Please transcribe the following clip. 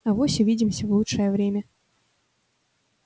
авось увидимся в лучшее время